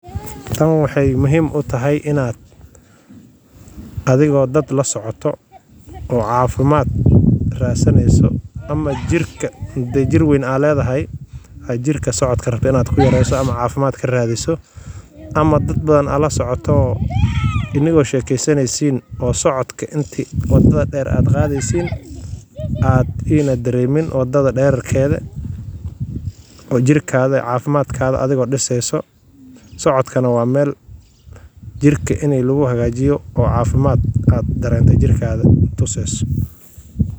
Tan waxay muhiim u tahay adigoo dad la socoto oo aad meel dadweyne joogtaan, gaar ahaan marka ay timaado nadaafadda iyo ilaalinta caafimaadka. Tusaale ahaan, gacmo-dhaqidda joogtada ah waxay ka hortagtaa faafitaanka jeermiska iyo cudurrada. Marka aad ka tagto nadaafaddaada shakhsiga ah, waxaad halis gelin kartaa naftaada iyo dadka kugu xeeran. Waa arrin fudud, balse leh saameyn weyn oo cafimaad jirkaaga tuseyso.